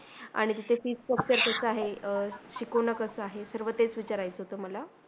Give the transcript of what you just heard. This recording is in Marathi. आणि तिथे Fees structure कस आहे, शिकवणं कसा आहे सर्व तेच विचारायचं होतं मला.